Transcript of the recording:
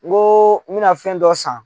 N ko n bɛna fɛn dɔ san